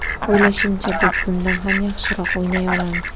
O‘ylashimcha, biz bundan ham yaxshiroq o‘ynay olamiz.